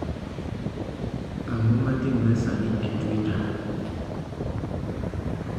ang'o matimre sani e twita